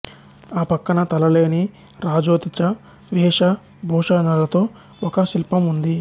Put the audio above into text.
ఆ పక్కన తలలేని రాజోచిత వేష భూషణాలతో ఒక శిల్పం ఉంది